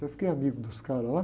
Eu fiquei amigo dos caras lá.